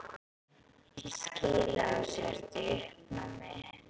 Ég skil að þú sért í uppnámi.